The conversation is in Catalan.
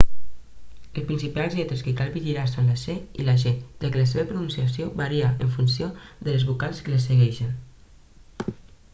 les principals lletres que cal vigilar són la c i la g ja que la seva pronunciació varia en funció de les vocals que les segueixen